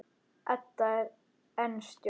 Edda er enn stjörf.